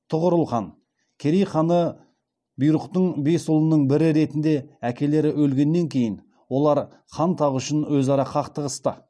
тұғырыл хан керей ханы бұйрықтың бес ұлының бірі ретінде әкелері өлгеннен кейін олар хан тағы үшін өзара қақтығысты